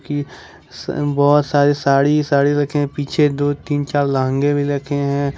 कि स बहुत सारी साड़ी साड़ी रखें हैं पीछे दो तीन चार लहंगे भी रखे हैं।